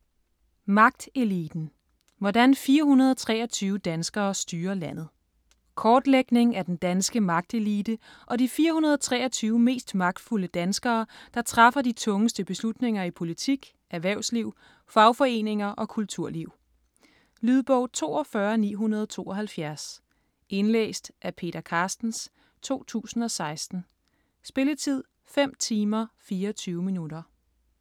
Magteliten: hvordan 423 danskere styrer landet Kortlægning af den danske magtelite og de 423 mest magtfulde danskere, der træffer de tungeste beslutninger i politik, erhvervsliv, fagforeninger og kulturliv. Lydbog 42972 Indlæst af Peter Carstens, 2016. Spilletid: 5 timer, 24 minutter.